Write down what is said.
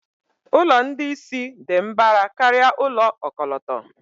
Ụlọ ndị isi dị mbara karịa ụlọ ọkọlọtọ.